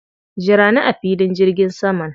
Jira ni a filin jirgin saman.